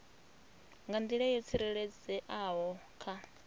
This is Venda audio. nga nḓila yo tsireledzeaho kha